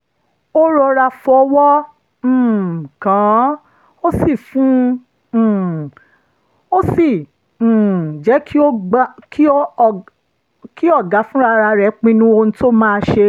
ó rọra fọwọ́ um kàn án ó sì um jẹ́ kí ọ̀gá fúnra rẹ̀ pinnu ohun tó máa ṣe